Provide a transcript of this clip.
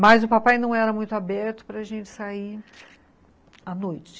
Mas o papai não era muito aberto para a gente sair à noite.